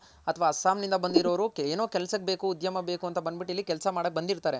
ಅಥ್ವಾ ಅಸ್ಸಾಂ ನಿಂದ ಬಂದಿರೋರು ಏನೋ ಕೆಲ್ಸಕ್ ಬೇಕು ಉದ್ಯಮ ಬೇಕು ಅಂತ ಬಂದ್ಬಟ್ಟ್ ಇಲ್ಲಿ ಕೆಲ್ಸ ಮಾಡಕ್ ಬಂದಿರ್ತಾರೆ.